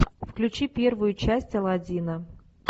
включи первую часть аладдина